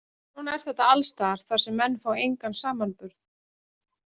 Svona er þetta alls staðar þar sem menn fá engan samanburð.